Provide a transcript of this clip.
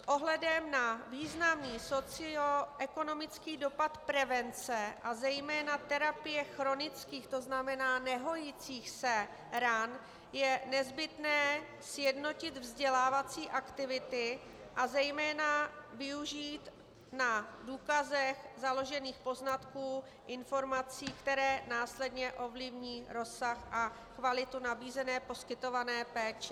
S ohledem na významný socioekonomický dopad prevence a zejména terapie chronických, to znamená nehojících se ran, je nezbytné sjednotit vzdělávací aktivity a zejména využít na důkazech založených poznatků, informací, které následně ovlivní rozsah a kvalitu nabízené poskytované péče.